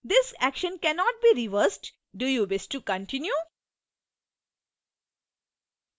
this action cannot be reversed do you wish to continue